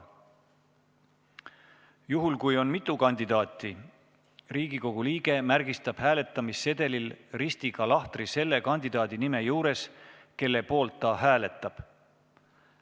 Juhul kui on mitu kandidaati, märgistab Riigikogu liige hääletamissedelil ristiga lahtri selle kandidaadi nime juures, kelle poolt ta hääletab.